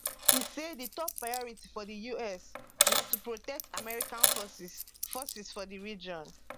e say di top priority for di us na to protect american forces forces for di region